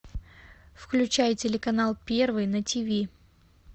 включай телеканал первый на тиви